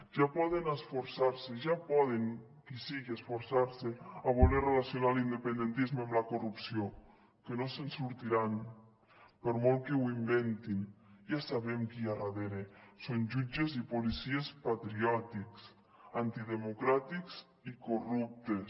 ja poden esforçars’hi ja poden qui sigui esforçarse a voler relacionar l’independentisme amb la corrupció que no se’n sortiran per molt que ho inventin ja sabem qui hi ha darrere són jutges i policies patriòtics antidemocràtics i corruptes